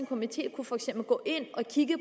komité for eksempel kunne gå ind og kigge